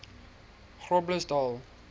groblersdal